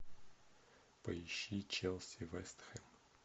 поищи челси вест хэм